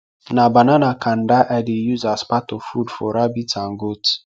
na banana kanda i dey use as part of food for rabbits and goats